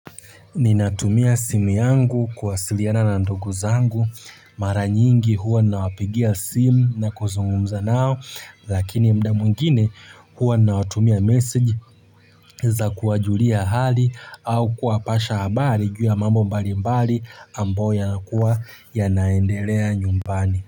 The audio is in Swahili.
Ninatumia simu yangu kuwasiliana na ndugu zangu mara nyingi huwa nawapigia simu na kuzungumza nao lakini mda mwingine huwa nawatumia message za kuwajulia hali au kuwapasha habari juu ya mambo mbalimbali ambayo yanakuwa yanaendelea nyumbani.